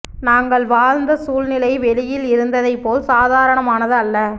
நாங்கள் வாழ்ந்த சூழ்நிலை வெளியில் இருந்ததைப் போல் சாதாரணமானது அல்ல